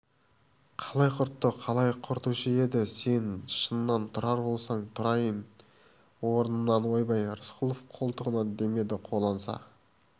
қалай құртты қалай құртушы еді сен шыннан тұрар болсаң тұрайын орнымнан ойбай рысқұлов қолтығынан демеді қолаңса